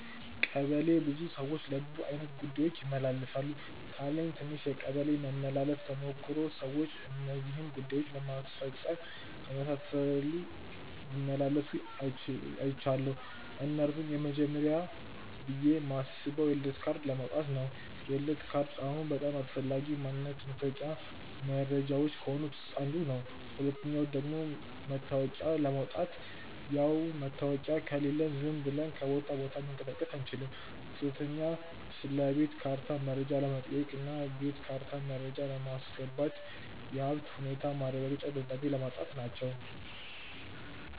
ቀበሌ ብዙ ሰዎች ለብዙ አይነት ጉዳዮች ይመላለሳሉ። ካለኝ ትንሽ የቀበሌ መመላለስ ተሞክሮ ሰዎች እነዚህን ጉዳዮች ለማስፈጸም ሲመላለሱ አይችያለው። እነርሱም፦ የመጀመርያው ብዬ ማስበው የልደት ካርድ ለማውጣት ነው፤ የልደት ካርድ አሁን በጣም አስፈላጊ ማንነት ማሳወቂያ መረጃዎች ከሆኑት ውስጥ አንዱ ነው። ሁለተኛው ደግሞ መታወቂያ ለማውጣት፣ ያው መታወቂያ ከሌለን ዝም ብለን ከቦታ ቦታ መንቀሳቀስ አንችልም። ሶስተኛ ስለቤት ካርታ መረጃ ለመጠየቅ እና የቤት ካርታ መረጃ ለማስገባት፣ የሀብት ሁኔታ ማረጋገጫ ደብዳቤ ለማጻፍ.... ወዘተ ናቸው።